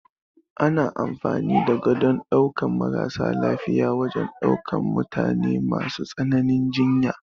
Ana amfani da Gadon ɗaukan maras lafiya wajan daukan mutane masu tsananin jinya